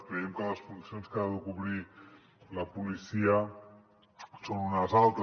creiem que les funcions que ha de cobrir la policia són unes altres